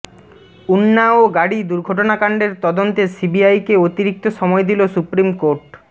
উন্নাও গাড়ি দুর্ঘটনাকাণ্ডের তদন্তে সিবিআইকে অতিরিক্ত সময় দিল সুপ্রিম কোর্ট